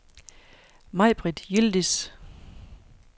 Mai-Britt Yildiz